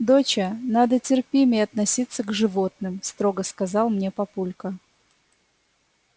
доча надо терпимее относиться к животным строго сказал мне папулька